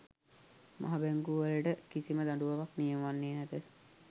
මහා බැංකුවලට කිසිම දඬුවමක් නියම වන්නේ නැත